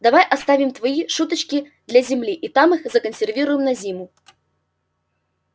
давай оставим твои шуточки для земли и там их законсервируем на зиму